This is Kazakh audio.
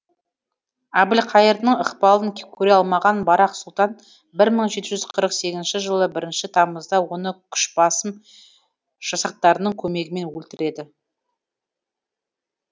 әбілқайырдың ықпалын көре алмаған барақ сұлтан бір мың жеті жүз қырық сегізінші жылы бірінші тамызда оны күші басым жасақтарының көмегімен өлтіреді